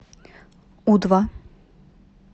у два